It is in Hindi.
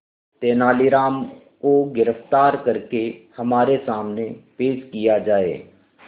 तेनालीराम को गिरफ्तार करके हमारे सामने पेश किया जाए